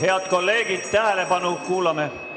Head kolleegid, tähelepanu!